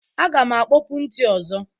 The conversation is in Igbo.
Aga m akpopu ntị ọzọ.